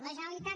la generalitat